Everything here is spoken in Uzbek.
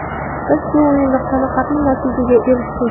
Biz bu o‘yinda qoniqarli natijaga erishdik.